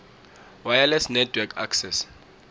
wireless network access